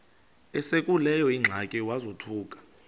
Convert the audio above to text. esekuleyo ingxaki wazothuka